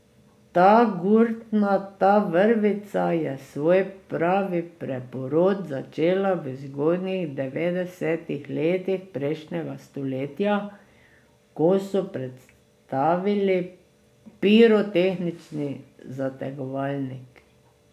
Ta gurtna, ta vrvica je svoj pravi preporod začela v zgodnjih devetdesetih letih prejšnjega stoletja, ko so predstavili pirotehnični zategovalnik.